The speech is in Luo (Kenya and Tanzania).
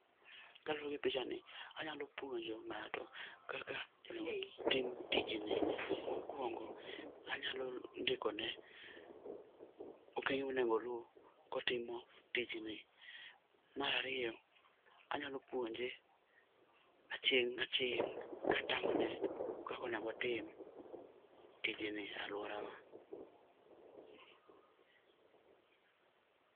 Kaluwore gi picha ni, anyalo puonjo ng'ato kaka inyalo tim tijni. Mokuongo anyalo ndikone okenge monego oluw kotimo tijni. Mar ariyo, anyalo puonje aching' aching' katang'one kaka onego otim tijni e aluorawa.